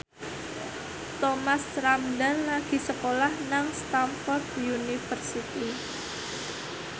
Thomas Ramdhan lagi sekolah nang Stamford University